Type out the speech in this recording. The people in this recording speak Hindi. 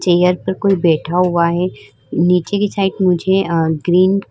चेयर पर कोई बैठा हुआ है। नीचे की साइड मुझे अं ग्रीन --